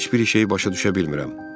Heç bir şeyi başa düşə bilmirəm.